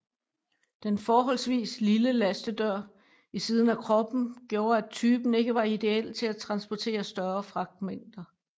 Den forholdsvis lille lastedør i siden af kroppen gjorde at typen ikke var ideel til at transportere større fragtmængder